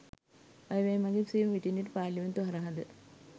අය වැය මඟින් සේම විටින් විට පාර්ලිමේන්තුව හරහාද